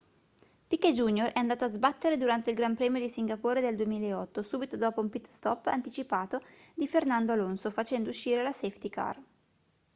piquet jr è andato a sbattere durante il gran premio di singapore del 2008 subito dopo un pit-stop anticipato di fernando alonso facendo uscire la safety car